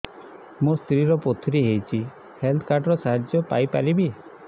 ମୋ ସ୍ତ୍ରୀ ର ପଥୁରୀ ହେଇଚି ହେଲ୍ଥ କାର୍ଡ ର ସାହାଯ୍ୟ ପାଇପାରିବି